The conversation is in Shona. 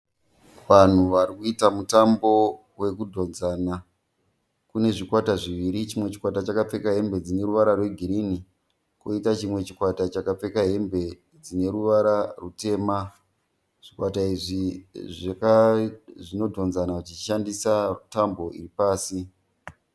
Vanhu varikuita mutambo wekudhonzana. Kune zvikwata zviviri , chimwe chikwata chakapfeka hembe dzineruvara rwe girinhi koita chimwe chikwata chine hembe dzineruvara rutema. Zvikwata izvi zvinodhonzana zvichishandisa tambo iri pasi.